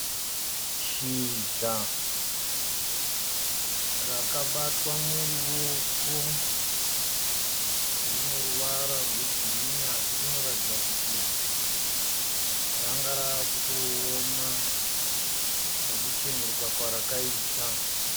Shizha rakabatwa muruoko rine ruvara rwegirinhi asi rinoratidza kuti ranga ravakutooma nekucheneruka kwarakaita.